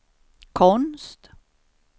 konst